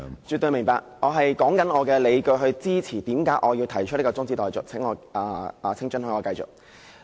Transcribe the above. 絕對明白，我是說出理據來支持為何我要提出中止待續議案，請准許我繼續發言。